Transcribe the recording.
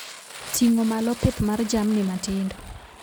Ting'o malo pith mar jamni matindo